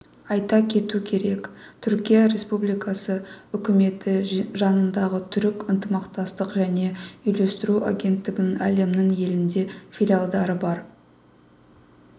айта кету керек түркия республикасы үкіметі жанындағы түрік ынтымақтастық және үйлестіру агенттігінің әлемнің елінде филиалдары бар